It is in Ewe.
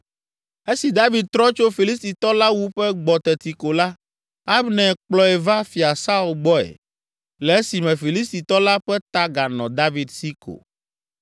Esi David trɔ tso Filistitɔ la wuƒe gbɔ teti ko la Abner kplɔe va Fia Saul gbɔe le esime Filistitɔ la ƒe ta ganɔ David si ko.